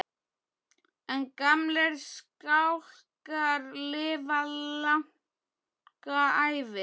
En gamlir skálkar lifa langa ævi.